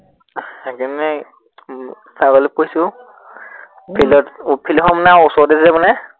সেই কাৰনে উম ছাগলী পুহিছো উম field ত উম field খন মানে ওচৰতে যে মানে।